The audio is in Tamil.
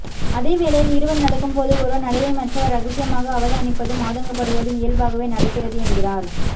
அதே வேளையில் இருவர் நடக்கும் போது ஒருவர் நடையை மற்றவர் ரகசியமாக அவதானிப்பதும் ஆதங்கபடுவதும் இயல்பாகவே நடக்கிறது என்கிறார்